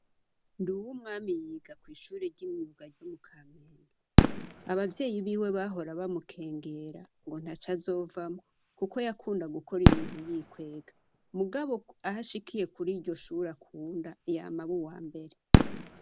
Nduwumwami yiga kw'ishure ry'imyuga ryo mukamenhe abavyeyi biwe bahora bamukengera ngo ntaco azovamwo kuko yakunda gukora ibintu yikwega mugabo ahashikiye kuri ryo Shure akunda yama aba uwambere.